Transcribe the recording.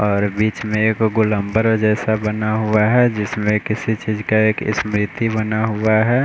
और बीच में एक गुल्मबर जैसा बना हुआ है जिसमें किसी चीज का एक स्मृति बना हुआ है।